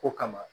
Ko kama